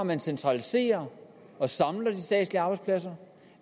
man centraliserer og samler de statslige arbejdspladser